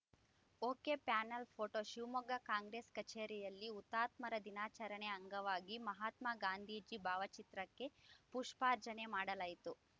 ಒಕೆಪ್ಯಾನೆಲ್‌ photo Shivamogga Congress ಕಚೇರಿಯಲ್ಲಿ ಹುತಾತ್ಮರ ದಿನಾಚರಣೆ ಅಂಗವಾಗಿ ಮಹಾತ್ಮಾಗಾಂಧೀಜಿ ಭಾವಚಿತ್ರಕ್ಕೆ ಪುಷ್ಪಾರ್ಚನೆ ಮಾಡಲಾಯಿತು